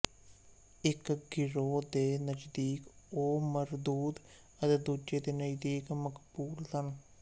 ਇੱਕ ਗਰੋਹ ਦੇ ਨਜ਼ਦੀਕ ਉਹ ਮਰਦੂਦ ਅਤੇ ਦੂਜੇ ਦੇ ਨਜ਼ਦੀਕ ਮਕਬੂਲ ਸਨ